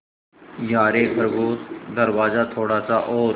यारे खरगोश दरवाज़ा थोड़ा सा और